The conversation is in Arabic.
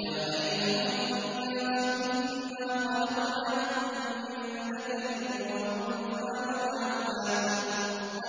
يَا أَيُّهَا النَّاسُ إِنَّا خَلَقْنَاكُم مِّن ذَكَرٍ وَأُنثَىٰ